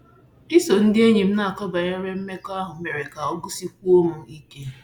Iso ndị enyi m na-akọ banyere mmekọahụ mere ka ọ gụsiwekwuo m ike.